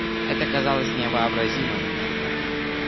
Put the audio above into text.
это казалось невообразимым